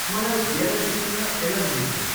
मलाई गेडागुडीसँग एलर्जी छ।